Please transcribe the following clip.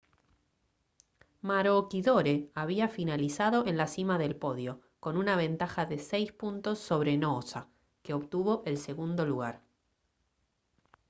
maroochydore había finalizado en la cima del podio con una ventaja de seis puntos sobre noosa que obtuvo el segundo lugar